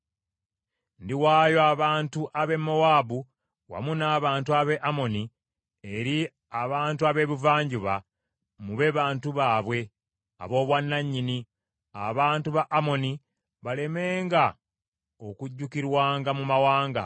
Ndiwaayo abantu ab’e Mowaabu wamu n’abantu ab’e Amoni eri abantu ab’Ebuvanjuba mube bantu baabwe ab’obwannanyini, abantu ba Amoni balemenga okujjukirwanga mu mawanga,